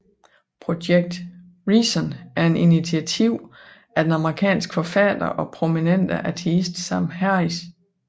Project Reason er et initiativ af den amerikanske forfatter og prominente ateist Sam Harris